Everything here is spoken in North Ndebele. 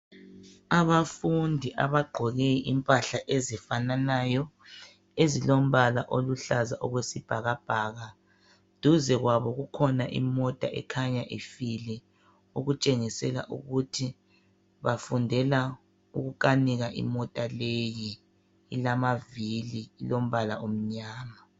Abafundi abagqoke Impahla ezifananayo ezilombala oluhlaza okwesibhakabhaka. Duze kwabo kulemota ekhanya ifile , okutshengisela ukuthi bafundela ukukhanika imota leyi .Ilamavili lombala omnyama.